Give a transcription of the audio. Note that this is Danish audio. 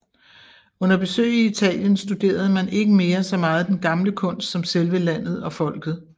Under besøg i Italien studerede man ikke mere så meget den gamle kunst som selve landet og folket